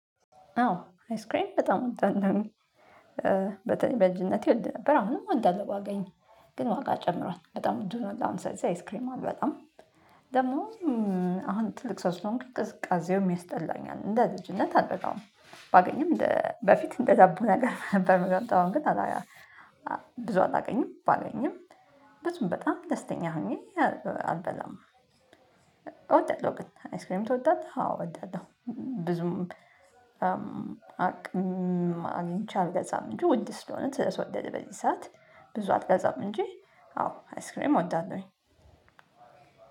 አዎ አይስክሬም በጣም እወዳለሁኝ። በተኔለይ በልጅነቴ እወድ ነበር አሁንም እወድአለሁ ባገኝ ግን ዋጋ ጨምሯል በጣም ውድ ሆኗል አሁን ስለዚህ አይስክሬም አልበላም። ደሞ አሁን ትልቅ ሰው ስለሆንኩ ቅዝቃዜውም ያስጠላኛል እንደ ልጅነት አልበላውም። ባገኘም እንደ በፊት እንደ ዳቦ ነገር ነበር ምገምጠው አሁን ግን አላ። ብዙ አላገኝም ባገኝም በዙም በጣም ደስተኛ ሆኜ አልበላም። እወዳለሁ ግን አይስክሬም ትወዳለህ? አዎ እወዳለሁ። ብዙም አቅም አግኝቼ አልገዛም። እንጂ ውድ ስለሆነ ስለ ተወደደ በዚህ ሰዓት ብዙ አልገዛም። እንጂ አዎ አይስክሬም እወደዋለሁኝ።